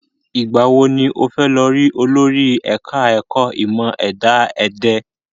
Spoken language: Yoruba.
Ìgbà wo ni o fẹ́ lọ rí olórí ẹ̀ka ẹ̀kọ́ ìmọ ẹ̀dá ẹ̀dẹ̀?